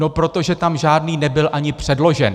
No protože tam žádný nebyl ani předložen.